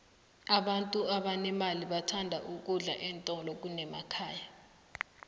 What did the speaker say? abantu abanemali bathanda ukudla eentolo kunekhaya